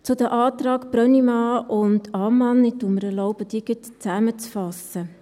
Zu den Anträgen Brönnimann und Ammann – ich erlaube mir, diese gleich zusammenzufassen: